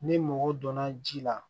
Ni mɔgɔ donna ji la